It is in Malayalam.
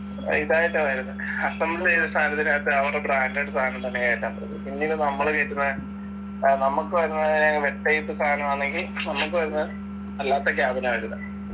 ഇതായിട്ടാ വരുന്നെ assemble ചെയ്ത സാധനത്തിനാകത്ത് അവരുടെ branded സാധനം തന്നെ കേറ്റാൻ പറ്റത്തുളളൂ പിന്നീട് നമ്മള് കേറ്റുന്ന ഏർ നമ്മക്ക് വരുന്ന ഏർ web type സാനം ആന്നെങ്കിൽ നമ്മക്ക് വരുന്ന അല്ലാത്ത cabin ആ വരുന്നേ